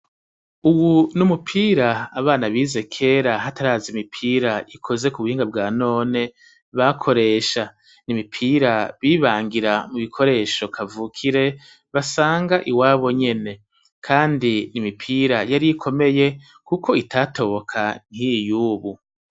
Uwu n'umupir'abana bize kera hataraz'imipir'ikozwe kubuhinga bwa none bakoresha, imipira bibangira mu bikoresho kavukire, basang'iwabo nyene kand'imipira yari komeye kuk'itatoboka nk'iyi yubu.